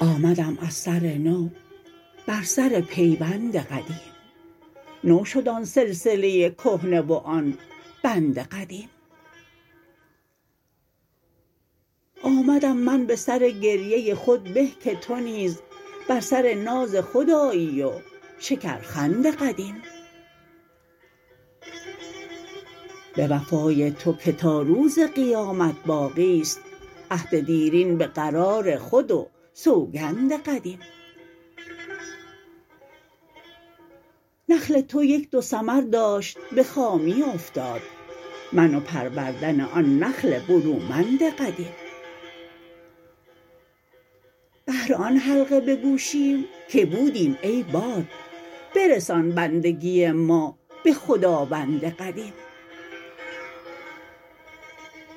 آمدم از سرنو بر سر پیوند قدیم نو شد آن سلسله کهنه و آن بند قدیم آمدم من به سر گریه خود به که تو نیز بر سر ناز خود آیی و شکرخند قدیم به وفای تو که تا روز قیامت باقیست عهد دیرین به قرار خود و سوگند قدیم نخل تو یک دو ثمر داشت به خامی افتاد من و پروردن آن نخل برومند قدیم بهر آن حلقه به گوشیم که بودیم ای باد برسان بندگی ما به خداوند قدیم